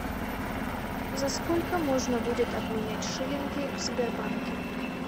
за сколько можно будет обменять шиллинги в сбербанке